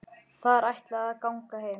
Þær ætla að ganga heim.